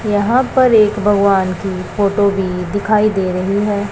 यहां पर एक भगवान की फोटो भी दिखाई दे रही है।